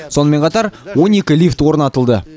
сонымен қатар он екі лифт орнатылды